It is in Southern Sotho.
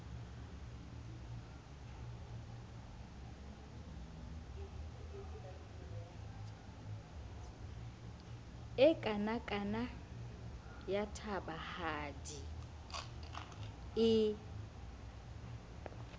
e kanakana ya tabahadi e